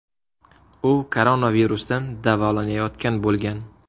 U koronavirusdan davolanayotgan bo‘lgan.